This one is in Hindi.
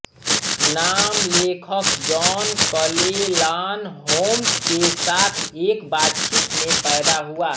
नाम लेखक जॉन क्लेलान होम्स के साथ एक बातचीत में पैदा हुआ